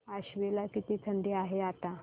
आश्वी ला किती थंडी आहे आता